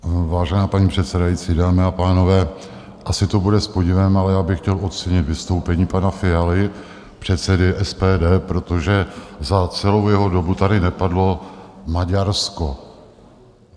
Vážená paní předsedající, dámy a pánové, asi to bude s podivem, ale já bych chtěl ocenit vystoupení pana Fialy, předsedy SPD, protože za celou jeho dobu tady nepadlo Maďarsko.